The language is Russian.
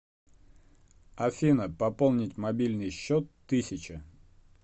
афина пополнить мобильный счет тысяча